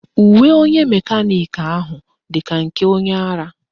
Uwe onye mekaniki ahụ dị ka nke onye ara